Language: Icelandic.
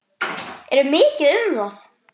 Er mikið um það?